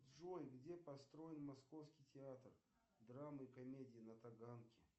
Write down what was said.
джой где построен московский театр драмы и комедии на таганке